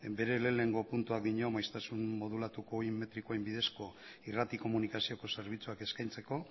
bere lehenengo puntuak dio maiztasun modulatuko ohi metrikoen bidezko irrati komunikazioko zerbitzuak eskaintzeko